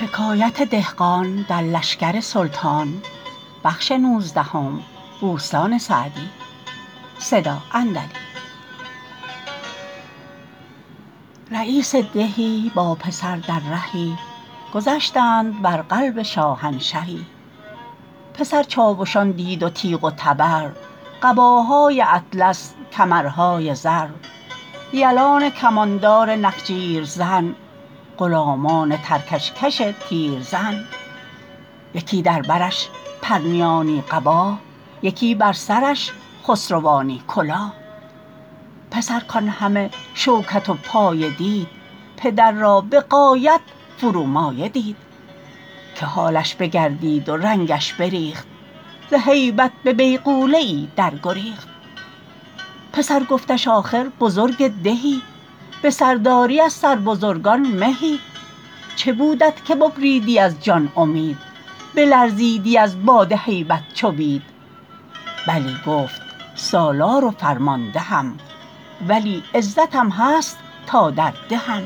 رییس دهی با پسر در رهی گذشتند بر قلب شاهنشهی پسر چاوشان دید و تیغ و تبر قباهای اطلس کمرهای زر یلان کماندار نخجیر زن غلامان ترکش کش تیرزن یکی در برش پرنیانی قباه یکی بر سرش خسروانی کلاه پسر کان همه شوکت و پایه دید پدر را به غایت فرومایه دید که حالش بگردید و رنگش بریخت ز هیبت به بیغوله ای در گریخت پسر گفتش آخر بزرگ دهی به سرداری از سر بزرگان مهی چه بودت که ببریدی از جان امید بلرزیدی از باد هیبت چو بید بلی گفت سالار و فرماندهم ولی عزتم هست تا در دهم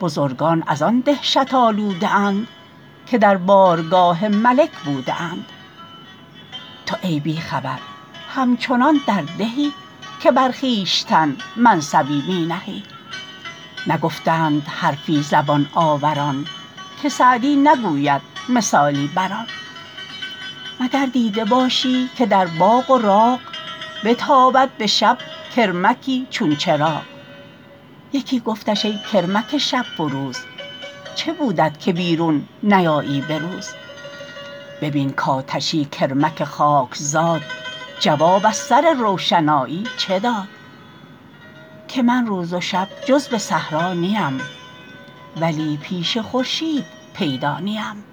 بزرگان از آن دهشت آلوده اند که در بارگاه ملک بوده اند تو ای بی خبر همچنان در دهی که بر خویشتن منصبی می نهی نگفتند حرفی زبان آوران که سعدی نگوید مثالی بر آن مگر دیده باشی که در باغ و راغ بتابد به شب کرمکی چون چراغ یکی گفتش ای کرمک شب فروز چه بودت که بیرون نیایی به روز ببین کآتشی کرمک خاکزاد جواب از سر روشنایی چه داد که من روز و شب جز به صحرا نیم ولی پیش خورشید پیدا نیم